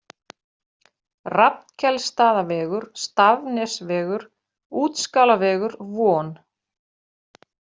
Rafnkelsstaðavegur, Stafnesvegur, Útskálavegur, Von